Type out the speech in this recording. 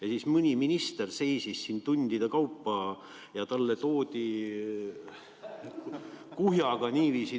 Ja siis mõni minister seisis siin tundide kaupa ja talle toodi kuhjaga küsimusi.